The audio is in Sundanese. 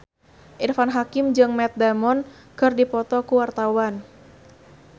Irfan Hakim jeung Matt Damon keur dipoto ku wartawan